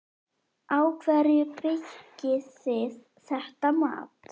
Á hverju byggið þið þetta mat?